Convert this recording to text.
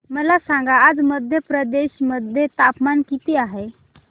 मला सांगा आज मध्य प्रदेश मध्ये तापमान किती आहे